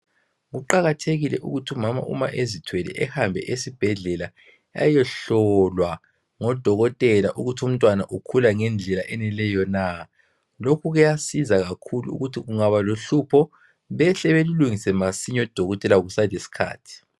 Kuqakathekile ukuthi umama uma ezithwele ehambe esibhedlela ayohlolwa ngodokotela ukuthi umntwana ukhula ngendlela efaneleyo na . Lokhu kuyasiza kakhulu ukuthi kungaba lohlupho behle belulungise masinya odokotela kusaselesikhathi.